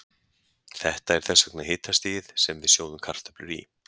Þetta er þess vegna hitastigið sem við sjóðum kartöflur í.